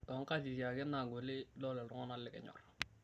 Too nkatiti ake naagoli idol ltung'ana likinyorr